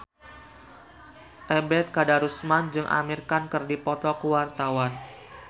Ebet Kadarusman jeung Amir Khan keur dipoto ku wartawan